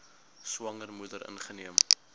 swanger moeder ingeneem